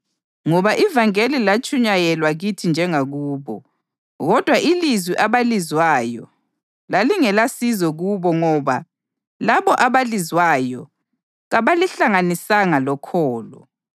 Ngoba ivangeli latshunyayelwa kithi njengakubo; kodwa ilizwi abalizwayo lalingelasizo kubo ngoba labo abalizwayo kabalihlanganisanga lokholo.